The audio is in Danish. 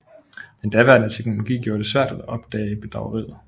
Den daværende teknologi gjorde det svært at opdage bedrageriet